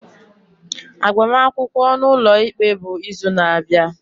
Agbamakwụkwọ ụlọikpe bụ izu na-abịa.